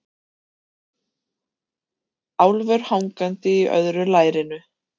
Álfur hangandi í öðru lærinu.